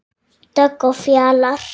Dögg og Fjalar.